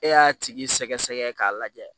E y'a tigi sɛgɛ k'a lajɛ